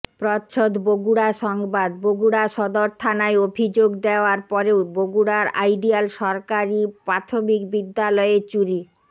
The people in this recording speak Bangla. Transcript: প্রচ্ছদ বগুড়া সংবাদ বগুড়া সদর থানায় অভিযোগ দেওয়ার পরেও বগুড়ার আইডিয়াল সরকারী প্রাথমিক বিদ্যালয়ে চুরি